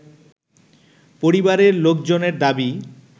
পরিবারের লোকজনের দাবি